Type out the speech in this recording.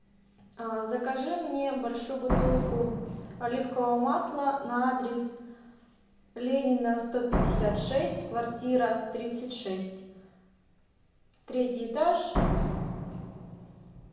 закажи мне большую бутылку оливкового масла на адрес ленина сто пятьдесят шесть квартира тридцать шесть третий этаж